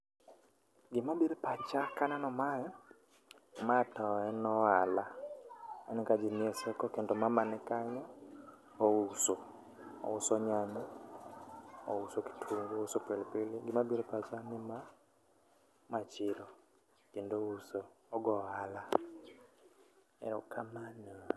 Gima biro e pacha kaneno mae, ma to en ohala, aneno ka jii nie soko kendo mama nikanyo ouso, ouso nyanya ,ouso kitungu, ouso pilipili. Gima biro e pacha ni ma ,ma chiro kendo ouso, ogo ohala. Erokamano